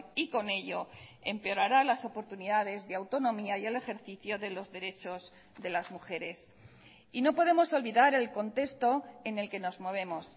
y con ello empeorara las oportunidades de autonomía y el ejercicio de los derechos de las mujeres y no podemos olvidar el contexto en el que nos movemos